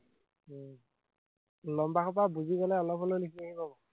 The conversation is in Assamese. লম্বা সোপা বুজিবলে অলপ হলেও লিখিব লাগিব।